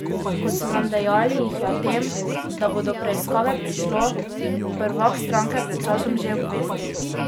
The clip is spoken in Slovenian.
Kot so nam dejali, jih je o tem, da bo do preiskave prišlo, prvak stranke pred časom že obvestil.